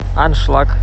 аншлаг